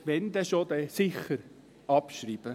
Wenn, dann sicher abschreiben.